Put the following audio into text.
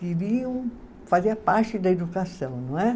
Queriam fazer parte da educação, não é?